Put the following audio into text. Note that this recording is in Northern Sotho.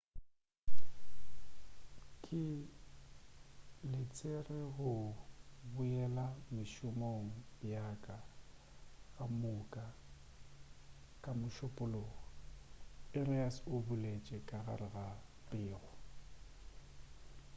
ke letsetše go boela mešomong yaka ka moka ka mošupulogo arias o boletše ka gare ga pego